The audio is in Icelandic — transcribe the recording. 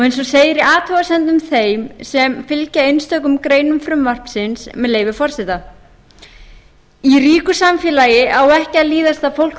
eins og segir í athugasemdum þeim sem fylgja einstökum greinum frumvarpsins með leyfi forseta í ríku samfélagi á ekki að líðast að fólk